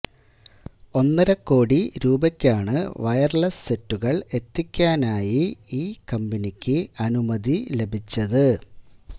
ഒന്നരക്കോടി രൂപയ്ക്കാണ് വയര്ലെസ് സെറ്റുകള് എത്തിക്കാനായി ഈ കമ്പനിക്ക് അനുമതി ലഭിച്ചത്